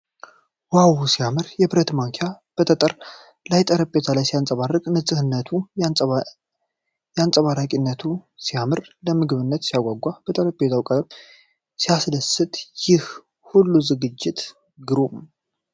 ዋው ሲያምር! የብረት ማንኪያ በጠጠር ባለ ጠረጴዛ ላይ ሲያበራ! ንፁህነቱና አንፀባራቂነቱ ሲማርክ! ለምግብነት ሲያጓጓ! የጠረጴዛው ቀለም ሲያስደስት! ይህ ሁሉ ዝግጅት ግሩም!